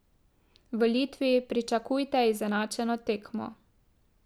V Litvi pričakujte izenačeno tekmo.